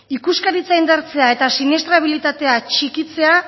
ikuskaritza indartzea eta siniestrabilitatea txikitzea